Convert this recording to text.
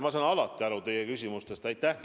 Ma saan alati teie küsimustest aru.